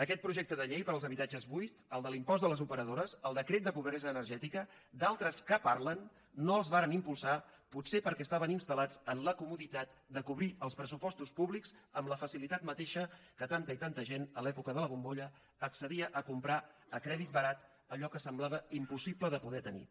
aquest projecte de llei sobre els habitatges buits el de l’impost de les operadores el decret de pobresa energètica d’altres que parlen no els varen impulsar potser que estaven instal·tat de cobrir els pressupostos públics amb la facilitat mateixa que tanta i tanta gent en l’època de la bombolla accedia a comprar a crèdit barat allò que semblava impossible de poder tenir